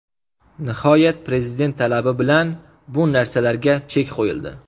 Nihoyat Prezident talabi bilan bu narsalarga chek qo‘yildi.